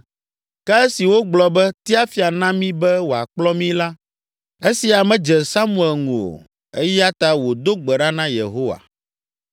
Ke esi wogblɔ be, “Tia fia na mí be wòakplɔ mí” la, esia medze Samuel ŋu o; eya ta wòdo gbe ɖa na Yehowa.